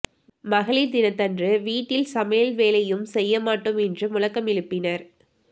மகளிர் தினத்தன்று வீட்டில் சமையல் வேலையும் செய்ய மாட்டோம் என்றும் முழக்கம் எழுப்பினர்